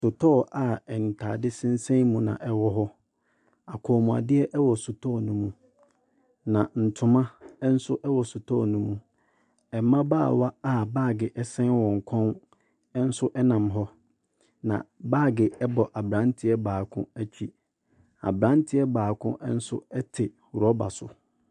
Sotɔɔ a ntaadeɛ sensɛn mu na ɛwɔ hɔ akɔnmuadeɛ ɛwɔ sotɔɔ no mu na ntoma nso ɛwɔ sotɔɔ no mu ɛmmabaawa a baage ɛsen wɔn kɔn nso ɛnam hɔ na baage ɛbɔ abranteɛ baako akyi abranteɛ baako nso ɛte rɔba so.